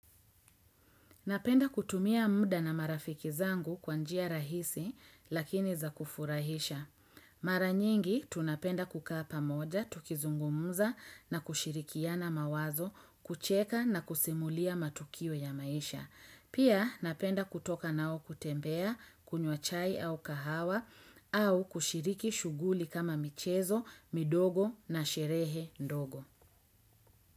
Napenda kutumia muda na marafiki zangu kwa njia rahisi lakini za kufurahisha. Mara nyingi tunapenda kukaa pamoja, tukizungumza na kushirikiana mawazo, kucheka na kusimulia matukio ya maisha. Pia napenda kutoka nao kutembea, kunywa chai au kahawa au kushiriki shughuli kama michezo, midogo na sherehe ndogo.